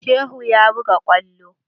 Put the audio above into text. Shehu ya buga kwallo.